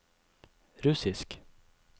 russisk